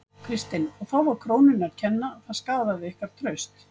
Kristinn: Og þá var krónunni að kenna, það skaðaði ykkar traust?